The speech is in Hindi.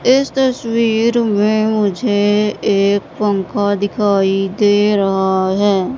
इस तस्वीर में मुझे एक पंखा दिखाई दे रहा है।